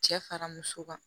Cɛ fara muso kan